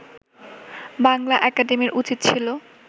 বাংলা একাডেমির উচিৎ ছিল